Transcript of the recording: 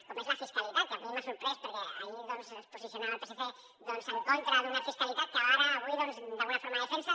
com és la fiscalitat que a mi m’ha sorprès perquè ahir doncs es posicionava el psc en contra d’una fiscalitat que ara avui d’alguna forma defensa